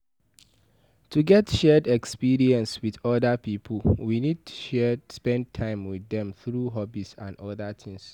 To get shared experience with oda pipo we need spend time with dem through hobbies or oda things